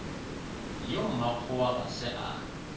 yo mmakgowa ga se a